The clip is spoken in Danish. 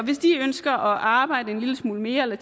hvis de ønsker at arbejde en lille smule mere eller